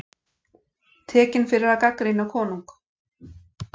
Tekinn fyrir að gagnrýna konung